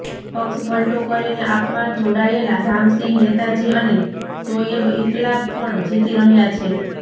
પક્ષપલટો કરીને આપમાં જોડાયેલા રામસિંહ નેતાજી અને શોએબ ઈકબાલ પણ જીતી રહ્યા છે